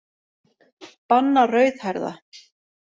Banna rauðhærða.